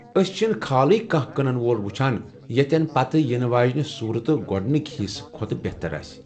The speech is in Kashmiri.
أسۍ چھِن خالٕےكانٛہہ كنن وول وُچھان ییتین پتہٕ یِنہٕ واجینہِ صورت گوڈنِكہِ حِصہٕ كھوتہٕ بہتر آسہِ ۔